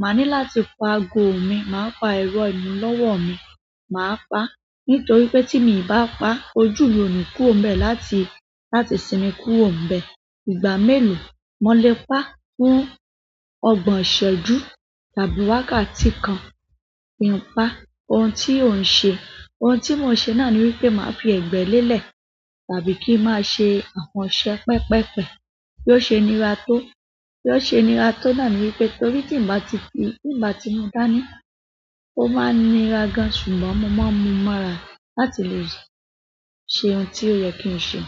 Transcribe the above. máa ní láti paago mi, máa pa ẹ̀rọ ìmúlọ́wọ́ mi, máa pa. Nítorí pé tí mi ì bá pa, ojú mi ò ní kúrò nbẹ̀ láti, láti sinmi kúrò níbẹ̀. Ìgbà mélòó mo lè pa fún ọgbọ̀n ìṣẹ́jú tàbí wákàtí kan kí n pa? Ohun tí o n ṣe, ohun tí mo n ṣe náà ni wípé màá fi ẹ̀gbẹ́ lélẹ̀ tàbí kí n máa ṣe àwọn iṣẹ́ pẹ́peẹ́pẹ́ bí ó ṣe níra tó. Bí ó ṣe níra tó náà ni wípé torí tí n bá ti fi, tí n bá ti mú dání, ó máa ń nira gan-an ṣùgbọ́n mo máa ń mú mora láti lè ṣe ohun tí ó yẹ kí n ṣe.